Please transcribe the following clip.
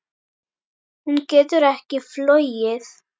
Hún getur ekki flogið.